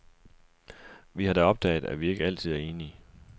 Vi har da opdaget, at vi ikke altid er enige.